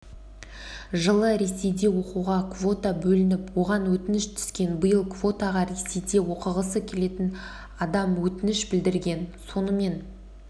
жылы ресейде оқуға квота бөлініп оған өтініш түскен биыл квотаға ресейде оқығысы келетін адамөтініш білдірген сонымен